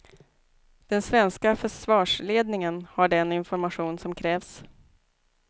Den svenska försvarsledningen har den information som krävs.